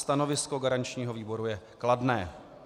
Stanovisko garančního výboru je kladné.